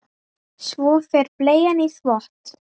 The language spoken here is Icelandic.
Svo fer bleian í þvott.